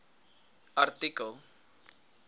artikel